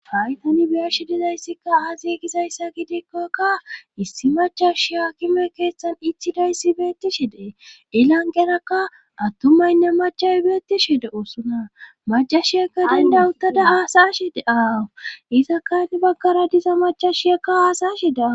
hay tani biyashi dizayssikka aazi gizayssa gidikkokka issi machashiya haakime keeththan ichidayssi beettishe dees ilanqerakka attumaynne machay beettishe de7osona macashiyekka dandauttada hasa7ashe de7aawu izakka hini baggara diza macashshiyakka aasashida